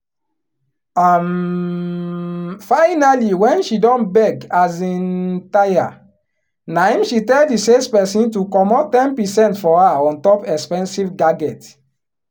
um finally wen she don beg um tire naim she tell di salesperson to comot ten percent for her on top expensive gadget